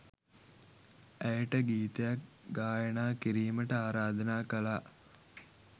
ඇයට ගීතයක් ගායනා කිරීමට ආරාධනා කළා